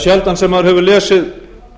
sjaldan sem maður hefur lesið